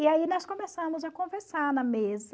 E aí nós começamos a conversar na mesa.